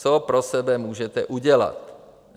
Co pro sebe můžete udělat?